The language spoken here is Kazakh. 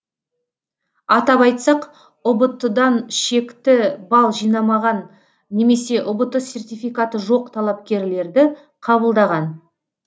атап айтсақ ұбт дан шекті балл жинамаған немесе ұбт сертификаты жоқ талапкерлерді қабылдаған